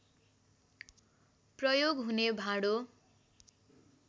प्रयोग हुने भाँडो